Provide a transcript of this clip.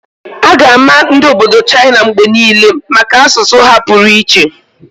A ga-ama ndi obodo China mgbe niile maka asụsụ ha pụrụ iche.